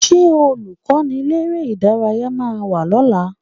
Ṣé Olùkọ́niléré-ìdárayá máa wá lọ́la?